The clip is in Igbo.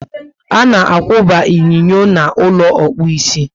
Ana akwuba inyinyo n'ulo ịkpụ isi